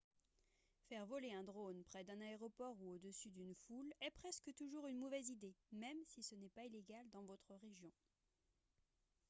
faire voler un drone près d'un aéroport ou au-dessus d'une foule est presque toujours une mauvaise idée même si ce n'est pas illégal dans votre région